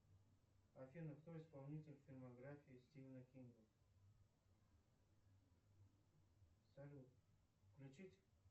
афина кто исполнитель фильмографии стивена кинга салют включить